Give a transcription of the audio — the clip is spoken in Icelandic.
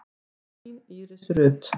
Þín Íris Rut.